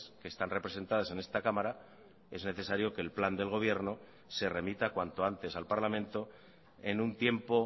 que están representadas en esta cámara es necesario que el plan del gobierno se remita cuanto antes al parlamento en un tiempo